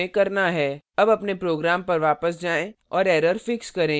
अब अपने program पर वापस जाएँ और error fix करें